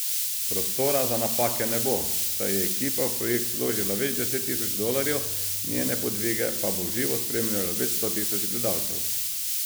Prostora za napake ne bo, saj je ekipa v projekt vložila več deset tisoč dolarjev, njene podvige pa bo v živo spremljalo več sto tisoč gledalcev.